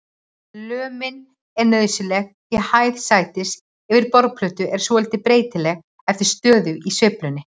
Lömin er nauðsynleg því hæð sætis yfir borðplötu er svolítið breytileg eftir stöðu í sveiflunni.